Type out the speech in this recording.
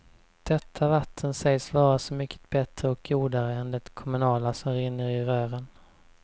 Detta vatten sägs vara så mycket bättre och godare än det kommunala som rinner i rören.